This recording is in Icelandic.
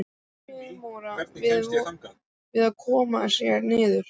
Seremónían við að koma sér niður.